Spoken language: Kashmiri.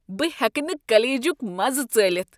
بہٕ ہیٚکہٕ نہٕ کلیجُک مزٕ ژٲلِتھ ۔